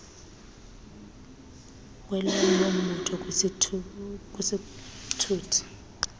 kwelomnye umbutho kwisithuthi